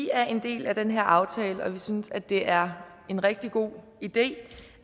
er en del af den her aftale og vi synes at det er en rigtig god idé